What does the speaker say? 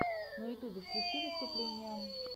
на ютубе включи выступления